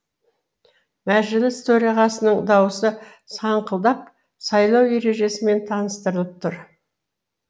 мәжіліс төрағасының даусы саңқылдап сайлау ережесімен таныстырып тұр